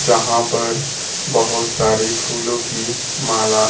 जहां पर बहोत सारे फूलों की माला--